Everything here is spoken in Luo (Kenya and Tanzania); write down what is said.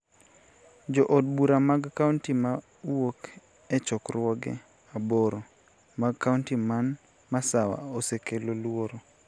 Jo od bura mag kaonti ma wuok e chokruoge aboro mag kauoti man Masawa osekelo luoro